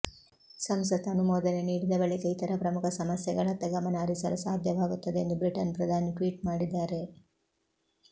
ಸಂಸತ್ತು ಅನುಮೋದನೆ ನೀಡಿದ ಬಳಿಕ ಇತರ ಪ್ರಮುಖ ಸಮಸ್ಯೆಗಳತ್ತ ಗಮನ ಹರಿಸಲು ಸಾಧ್ಯವಾಗುತ್ತದೆ ಎಂದು ಬ್ರಿಟನ್ ಪ್ರಧಾನಿ ಟ್ವೀಟ್ ಮಾಡಿದ್ಧಾರೆ